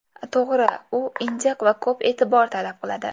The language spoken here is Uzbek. To‘g‘ri, u injiq va ko‘p e’tibor talab qiladi.